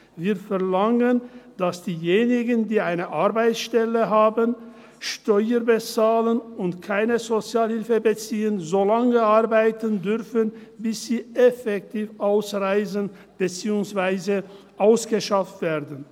Wir verlangen, dass diejenigen, die eine Arbeitsstelle haben, Steuern bezahlen und keine Sozialhilfe beziehen, so lange arbeiten dürfen, bis sie effektiv ausreisen, beziehungsweise ausgeschafft werden.